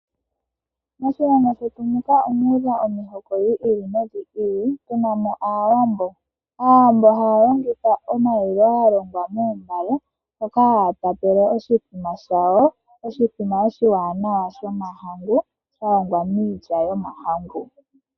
Moshilongo shetu muka omuudha omihoko dhi ili nodhi ili tuna mo muna Aawambo. Aawambo haya longitha omalilo galongwa moombale moka haya tapele oshimbombo shawo, oshimbombo oshiwanawa shomahangu shalongwa miilya yomahangu.